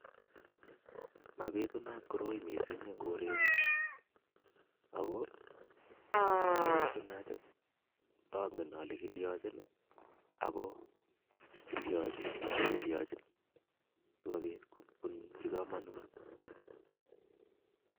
Mabitunat koroi mising eng kore Yu ako ndabitunat ndangen ale kilyonchin ako si kobit kobunchi komonut